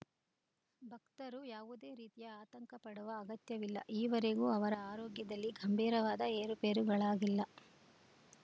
ಭಕ್ತರು ಯಾವುದೇ ರೀತಿಯ ಆತಂಕ ಪಡುವ ಅಗತ್ಯವಿಲ್ಲ ಈವರೆಗೂ ಅವರ ಆರೋಗ್ಯದಲ್ಲಿ ಗಂಭೀರವಾದ ಏರುಪೇರುಗಳಾಗಿಲ್ಲ